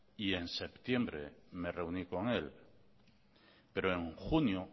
y en septiembre me reuní con él pero en junio